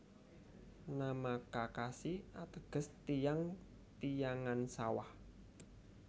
Nama Kakashi ateges tiyang tiyangan sawah